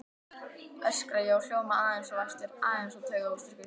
öskra ég og hljóma aðeins of æstur, aðeins of taugaóstyrkur.